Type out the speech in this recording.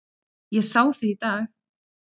Ég sá þig í dag